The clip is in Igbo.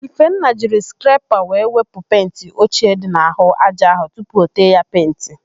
Ifenna jiri skrepa wee wepụ penti ochie dị n'àhụ́ ájá áhụ̀ tupu o tee ya penti.